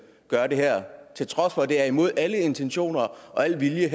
gør det her til trods for at det er imod alle intentioner og al vilje